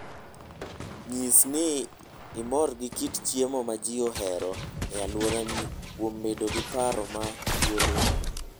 Nyis ni imor gi kit chiemo ma ji ohero e alworani kuom bedo gi paro ma thuolo.